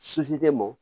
tɛ mɔn